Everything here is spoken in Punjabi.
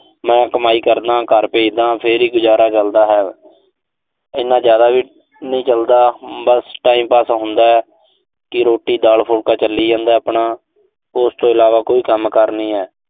ਮੈਂ ਕਮਾਈ ਕਰਦਾਂ। ਘਰ ਭੇਜਦਾਂ, ਫਿਰ ਹੀ ਗੁਜ਼ਾਰਾ ਚਲਦਾ ਹੈ। ਇਨਾ ਜ਼ਿਆਦਾ ਵੀ ਨੀਂ ਚਲਦਾ। ਬਸ time pass ਹੁੰਦਾ ਕਿ ਰੋਟੀ ਦਾਲ-ਫੁਲਕਾ ਚੱਲੀ ਜਾਂਦਾ ਆਪਣਾ। ਉਸ ਤੋਂ ਇਲਾਵਾ ਕੋਈ ਕੰਮਕਾਰ ਨਹੀਂ ਐ।